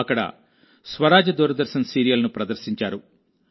అక్కడ స్వరాజ్ దూరదర్శన్ సీరియల్ ను ప్రదర్శించారు